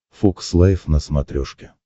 фокс лайф на смотрешке